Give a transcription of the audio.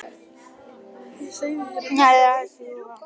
Klukkan var farin að ganga tólf og hvorugan langaði heim.